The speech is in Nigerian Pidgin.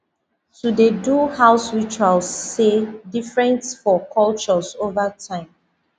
to dey do house ritual sey different for cultures over time